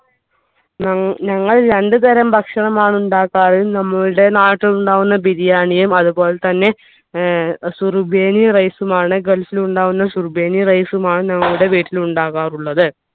ഞങ്ങൾ രണ്ടുതരം ഭക്ഷണമാണ് ഉണ്ടാക്കാർ നമ്മുടെ നാട്ടിൽ ഉണ്ടാകുന്ന ബിരിയാണിയും അതുപോലെതന്നെ ഏർ rice ഉം ആൺ gulf ൽ ഉണ്ടാവുന്ന rice ഉം ആൺ ഞങ്ങളുടെ വീട്ടിൽ ഉണ്ടാകാറുള്ളത്